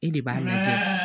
E de b'a lajɛ